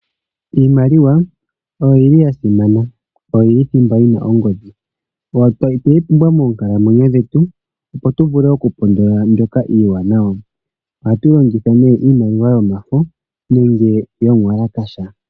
Iimaliwa oyo yili ya simana oyo yili thimba yina ongodhi otweyi pumbwa moonkalamwenyo dhetu opo tu vule okumona mbyoka iiwanawa ohatu longitha ihe iimaliwa yomafo nenge yomuwalakasha.